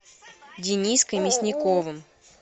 дениской мясниковым